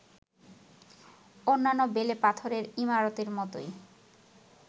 অন্যান্য বেলে পাথরের ইমারতের মতোই